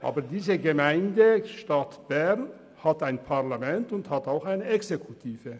Die Gemeinde Stadt Bern hat ein Parlament und eine Exekutive.